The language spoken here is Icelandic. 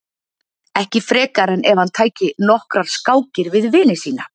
ekki frekar en ef hann tæki nokkrar skákir við vini sína